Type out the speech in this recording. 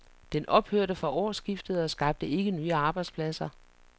Den ophørte fra årsskiftet og skabte ikke nye arbejdspladser.